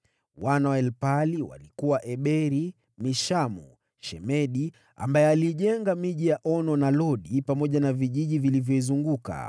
Wana wa Elpaali walikuwa: Eberi, Mishamu, Shemedi (aliyeijenga miji ya Ono na Lodi, pamoja na vijiji vilivyoizunguka),